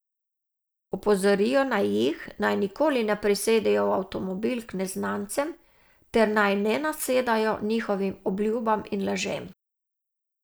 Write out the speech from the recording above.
Opozorijo naj jih, naj nikoli ne prisedejo v avtomobil k neznancem ter naj ne nasedajo njihovim obljubam in lažem.